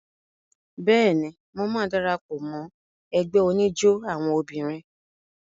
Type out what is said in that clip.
Bẹ́ẹ̀ni, mo máa dara pọ̀ mọ́ ẹgbẹ́ oníjó àwọn obìnrin.